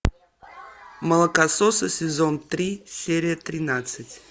молокососы сезон три серия тринадцать